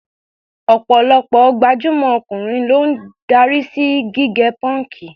Ọ̀pọ̀lọpọ̀ gbajúmọ̀ ọkùnrin ló ń darí sí gígẹ pọ́ǹkì.